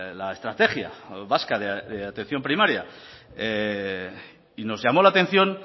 la estrategia vasca de atención primaria y nos llamó la atención